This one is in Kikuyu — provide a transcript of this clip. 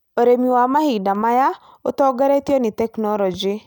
Ũrĩmi wa mahinda maya ũtongoretio nĩ tekinolonjĩ.